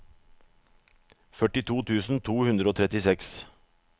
førtito tusen to hundre og trettiseks